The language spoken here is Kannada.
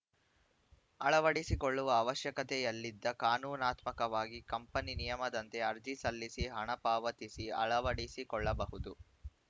ಅಳವಡಿಸಿಕೊಳ್ಳುವ ಅವಶ್ಯಕತೆಯಲ್ಲಿದ್ದ ಕಾನೂನಾತ್ಮಕವಾಗಿ ಕಂಪನಿ ನಿಯಮದಂತೆ ಅರ್ಜಿ ಸಲ್ಲಿಸಿ ಹಣ ಪಾವತಿಸಿ ಅಳವಡಿಸಿ ಕೊಳ್ಳಬಹುದು